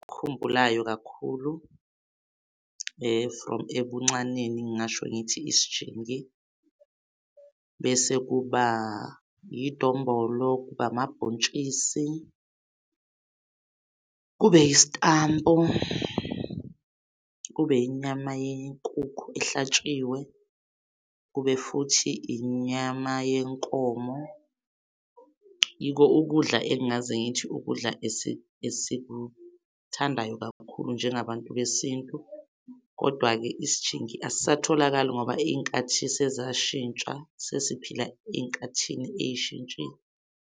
Engikukhumbulayo kakhulu from ebuncaneni ngingasho ngithi isijingi bese kuba idombolo kuba amabhontshisi kube isitambu kube inyama yenkukhu ehlatshiwe, kube futhi inyama yenkomo. Yiko ukudla engaze ngithi ukudla esikuthathayo kakhulu njengabantu besintu. Kodwa-ke isijingi akasatholakali ngoba iy'nkathi sezashintsha sesiphila enkathini eshintshile.